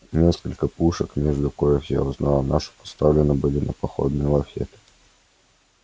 несколько пушек между коих я узнал нашу поставлены были на походные лафеты